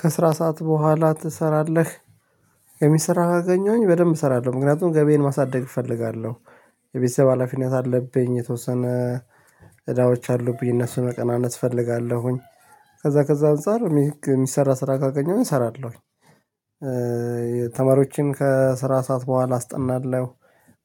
ከስራ ሰዓት በኋላ ትሰራለህ? የሚሰራ ካገኘሁኝ በደንብ እሰራለሁ ምክንያቱም ገበዬን ማሳደግ እፈልጋለሁ። የቤተሰብ ሀላፊነት አለብኝ የተወሰነ እዳዎች አሉብኝ እነሱን መቀናነስ እፈልጋለሁኝ። ከዛ ከዛ አንፃር የሚሰራ ስራ ካገኘሁኝ እሰራለሁኝ። ተማሪዎችን ከስራ ሰዓት በኋላ አስጠናለሁ።